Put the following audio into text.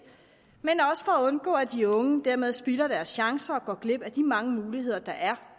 og at de unge dermed spilder deres chancer og går glip af de mange muligheder der er